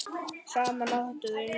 Saman áttu þau níu börn.